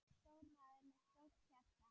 Stór maður með stórt hjarta.